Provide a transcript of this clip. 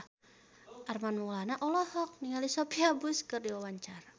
Armand Maulana olohok ningali Sophia Bush keur diwawancara